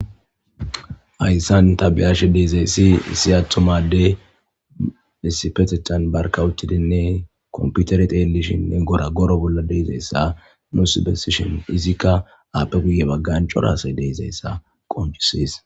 Ayssan tabiyaashe deezayssi isi attomade isipetetan barka uttidinne komputere teellishinne gora goro bolla deezayssa nuusibesishin izikka aappe guye baggan corasay deezayssa qonchisees.